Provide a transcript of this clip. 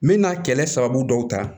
N bɛ na kɛlɛ sababu dɔw ta